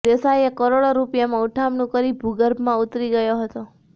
દેસાઇએ કરોડો રૃપિયામાં ઉઠમણું કરી ભુર્ગભમાં ઉતરી ગયો હતો